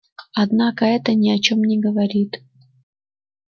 однако это ни о чём не говорит